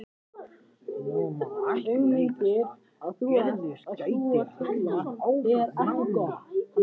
Nú má ekki bregðast að Gerður geti haldið áfram námi.